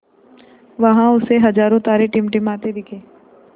वहाँ उसे हज़ारों तारे टिमटिमाते दिखे